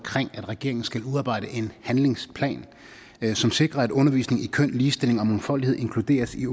at regeringen skal udarbejde en handlingsplan som sikrer at undervisning i køn ligestilling og mangfoldighed inkluderes i